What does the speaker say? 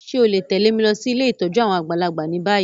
Ṣe o le tẹ̀lé mi losí ilé ìtójú àwon àgbàlagbà ni bayi?